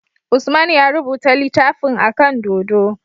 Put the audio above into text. Usman ya rubuta litafin akan dodo